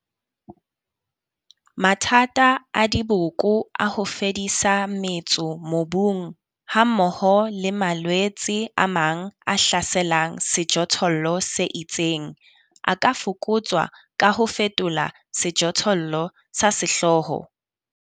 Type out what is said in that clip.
Mathata a diboko a ho fedisa metso mobung hammoho le malwetse a mang a hlaselang sejothollo se itseng. A ka fokotswa ka ho fetola sejothollo sa sehlooho.